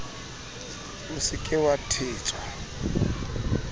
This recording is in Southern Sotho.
o se ke wa thetswa